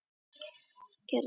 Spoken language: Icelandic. Gamlir skór falla best að fæti.